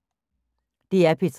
DR P3